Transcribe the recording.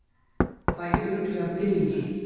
Fæ örugglega pillur